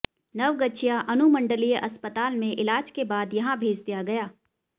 नवगछिया अनुमंडलीय अस्पताल में इलाज के बाद यहां भेज दिया गया